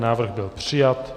Návrh byl přijat.